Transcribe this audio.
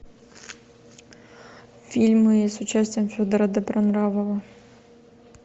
фильмы с участием федора добронравова